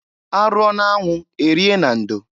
Arụọ na-anwụ erie na ndo.